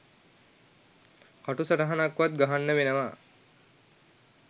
කටු සටහනක්වත් ගහන්න වෙනවා